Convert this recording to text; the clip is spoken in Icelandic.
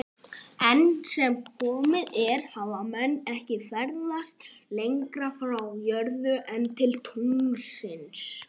Enn sem komið er hafa menn ekki ferðast lengra frá jörðu en til tunglsins.